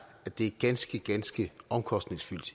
at det er ganske ganske omkostningsfuldt